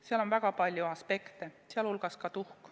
Seal on väga palju aspekte, sh tuhk.